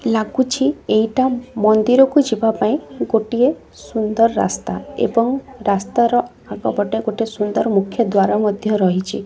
ଲାଗୁଛି ଏଇଟା ମନ୍ଦିରକୁ ଯିବା ପାଇଁ ଗୋଟିଏ ସୁନ୍ଦର ରାସ୍ତା ଏବଂ ରାସ୍ତାର ଆଗପଟେ ଗୋଟେ ସୁନ୍ଦର ମୁଖ୍ୟ ଦ୍ଵାର ମଧ୍ୟ ରହିଛି।